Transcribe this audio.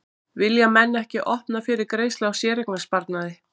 Vilja menn ekki að opna fyrir greiðslu á séreignasparnaði?